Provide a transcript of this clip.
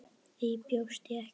Því bjóst ég ekki við.